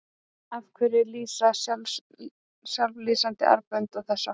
Af hverju lýsa sjálflýsandi armbönd og þess háttar?